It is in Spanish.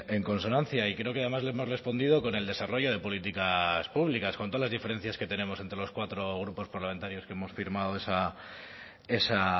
en consonancia y creo que además le hemos respondido con el desarrollo de políticas públicas con todas las diferencias que tenemos entre los cuatro grupos parlamentarios que hemos firmado esa